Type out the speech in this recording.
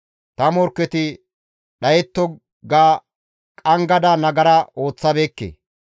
‹Ta morkketi dhayetto› ga qanggada nagara ooththabeekke.